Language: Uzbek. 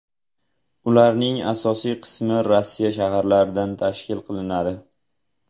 Ularning asosiy qismi Rossiya shaharlaridan tashkil qilinadi.